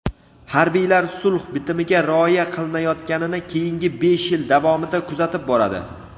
Harbiylar sulh bitimiga rioya qilinayotganini keyingi besh yil davomida kuzatib boradi.